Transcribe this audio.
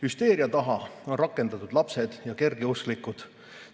Hüsteeria taha on rakendatud lapsed ja kergeusklikud.